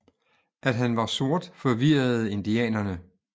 At han var sort forvirrede indianerne